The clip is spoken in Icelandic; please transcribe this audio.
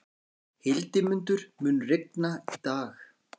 Hildimundur, mun rigna í dag?